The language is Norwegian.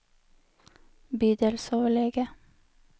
bydelsoverlege